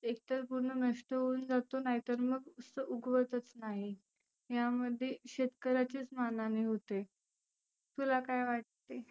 एक तर पुर्ण नष्ट होऊन जातो नाही तर मग उगवतच नाही. यामध्ये शेतकऱ्याचीच मान हानी होते. तुला काय वाटते?